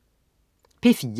P4: